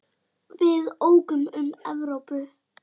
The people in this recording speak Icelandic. Við ókum um Evrópu.